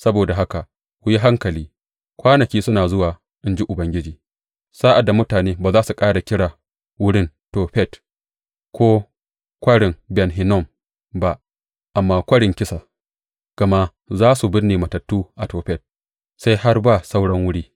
Saboda haka ku yi hankali, kwanaki suna zuwa in ji Ubangiji, sa’ad da mutane ba za su ƙara kira wurin Tofet ko Kwarin Ben Hinnom ba, amma Kwarin Kisa, gama za su binne matattu a Tofet sai har ba sauran wuri.